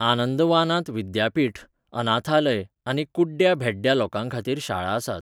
आनंदवानांत विद्यापीठ, अनाथालय आनी कुड्ड्या भेड्ड्या लोकांखातीर शाळा आसात.